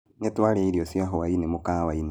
Nĩtwarĩa irio cia hwaĩ-inĩ mũkawa-inĩ